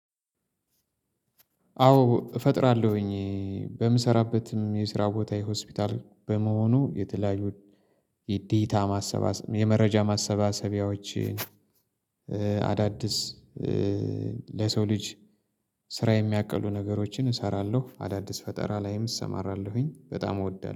አዎ እፈጥራለሁኝ በምሰራበትም የስራ ቦታ ሆስፒታል በመሆኑ የተለያዩ የዴታ ማሰባሰ የመረጃ ማሰባሰቢያዎችን አዳድስ ለሰው ልጅ ስራ የሚያቀሉ ነገሮችን እሰራለሁ። አዳዲስ ፈጠራ ላይም እሰማራለሁኝ በጣም እወዳለሁ